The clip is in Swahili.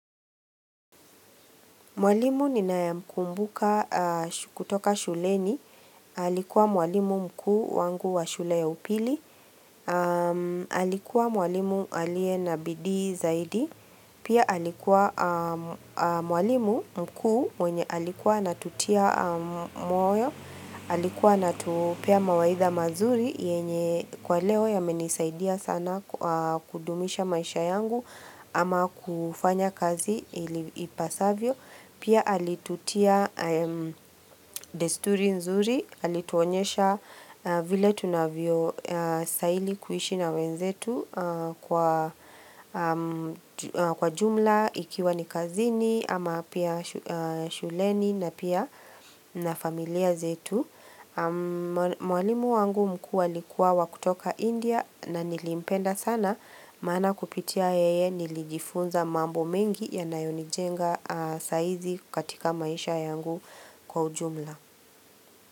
Mwalimu ninayemkumbuka kutoka shuleni, alikuwa mwalimu mkuu wangu wa shule ya upili, alikuwa mwalimu aliye na bidii zaidi, pia alikuwa mwalimu mkuu mwenye alikuwa anatutia moyo, alikuwa anatupea mawaidha mazuri yenye kwa leo yamenisaidia sana kudumisha maisha yangu ama kufanya kazi ipasavyo. Pia alitutia desturi nzuri, alituonyesha vile tunavyostahili kuishi na wenzetu kwa kwa jumla ikiwa ni kazini, ama pia shuleni na pia na familia zetu. Mwalimu wangu mkuu alikuwa wa kutoka India na nilimpenda sana Maana kupitia yeye nilijifunza mambo mengi yanayonijenga sahizi katika maisha yangu kwa ujumla.